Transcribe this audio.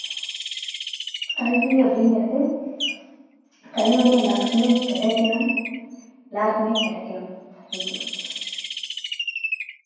கல்வி அப்படிங்கறது கல்வி வந்து எல்லாத்துக்குமே கிடைக்கணும். எல்லாருக்குமே கிடைக்கணும். thank you.